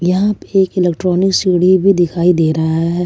यहां पे एक इलेक्ट्रॉनिक सीढ़ी भी दिखाई दे रहा है।